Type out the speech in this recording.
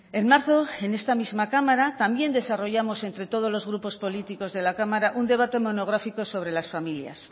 en marzo en esta misma cámara también desarrollamos entre todos los grupos políticos de la cámara un debate monográfico sobre las familias